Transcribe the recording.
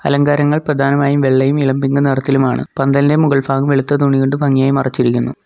അലങ്കാരങ്ങൾ പ്രധാനമായും വെള്ളയും ഇളം പിങ്ക് നിറത്തിലുമാണ് പന്തലിൻ്റെ മുകൾഫാഗം വെളുത്ത തുണികൊണ്ട് ഭംഗിയായി മറച്ചിരിക്കുന്നു.